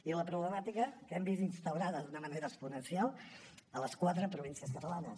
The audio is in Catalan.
i la problemàtica que hem vist instaurada d’una manera exponencial a les quatre províncies catalanes